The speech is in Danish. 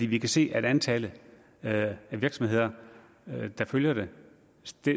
vi kan se at antallet af virksomheder der følger det